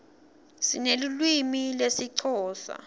sinelulwimi lesixhosa